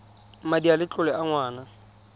madi a letlole a ngwana